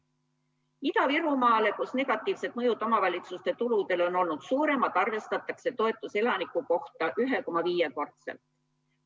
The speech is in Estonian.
Ida-Virumaale, kus negatiivsed mõjud omavalitsuste tuludele on olnud suuremad, arvestatakse toetus elaniku kohta 1,5-kordselt.